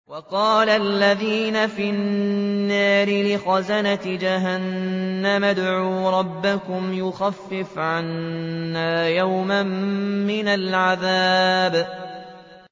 وَقَالَ الَّذِينَ فِي النَّارِ لِخَزَنَةِ جَهَنَّمَ ادْعُوا رَبَّكُمْ يُخَفِّفْ عَنَّا يَوْمًا مِّنَ الْعَذَابِ